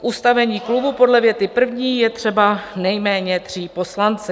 K ustavení klubu podle věty první je třeba nejméně tří poslanců."